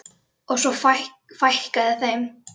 Og svo fækkaði þeim.